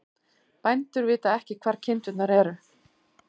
Bændur vita ekki hvar kindurnar eru